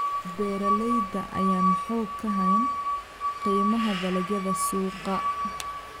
Beeralayda ayaan xog ka hayn qiimaha dalagyada suuqa.